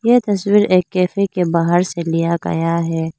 ये तस्वीर एक कैफे के बाहर से लिया गया है।